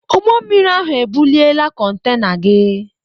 Ụgbọ mmiri ahụ ebuliela kontena gị.